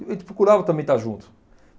A gente procurava também estar junto.